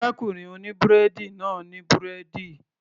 Arákùnrin oní búrẹ́dì náà ní búrẹ́dì